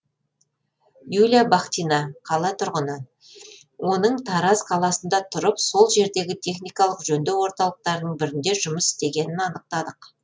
юлия бахтина қала тұрғыны оның тараз қаласында тұрып сол жердегі техникалық жөндеу орталықтарының бірінде жұмыс істегенін анықтадық